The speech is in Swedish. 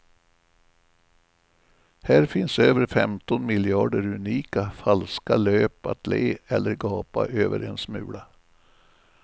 Här finns över femton miljarder unika, falska löp att le eller gapa över en smula.